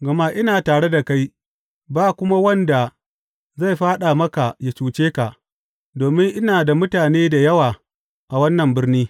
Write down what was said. Gama ina tare da kai, ba kuma wanda zai fāɗa maka ya cuce ka, domin ina da mutane da yawa a wannan birni.